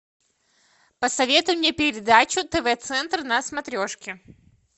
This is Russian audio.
посоветуй мне передачу тв центр на смотрешке